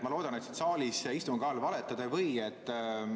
Ma loodan, et siin saalis ja istungi ajal valetada ei või.